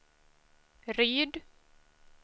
Ryd